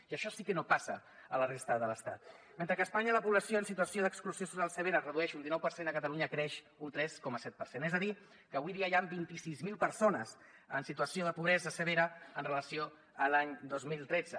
i això sí que no passa a la resta de l’estat mentre que a espanya la població en situació d’exclusió social severa es redueix un dinou per cent a catalunya creix un tres coma set per cent és a dir que avui dia hi han vint sis mil persones en situació de pobresa severa amb relació a l’any dos mil tretze